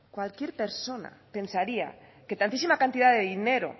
cualquier persona pensaría que tantísima cantidad de dinero